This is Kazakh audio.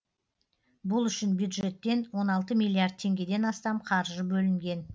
бұл үшін бюджеттен он алты миллиард теңгеден астам қаржы бөлінген